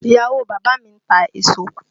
Ìyàwó bàbá mi ń ta èso